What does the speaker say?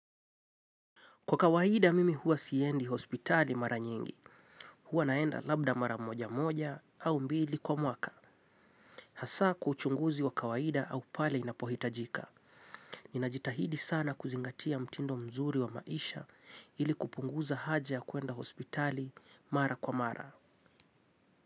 Kwa kawaida mimi huwa siendi hospitali mara nyingi. Huwa naenda labda mara moja moja au mbili kwa mwaka. Hasa kwa uchunguzi wa kawaida au pale inapohitajika. Ninajitahidi sana kuzingatia mtindo mzuri wa maisha ili kupunguza haja ya kuenda hospitali mara kwa mara.